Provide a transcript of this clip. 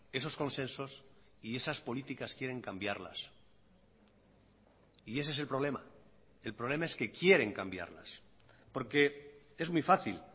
esos consensos y esas políticas quieren cambiarlas y ese es el problema el problema es que quieren cambiarlas porque es muy fácil